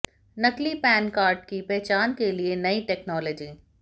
नकली PAN card की पहचान के लिए नई टैक्नोलॉजी